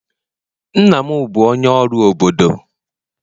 nna m bu onye oru obodo